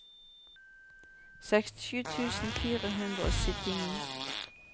sekstisju tusen fire hundre og syttini